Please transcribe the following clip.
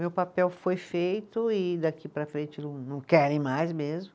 Meu papel foi feito e daqui para frente não, não querem mais mesmo.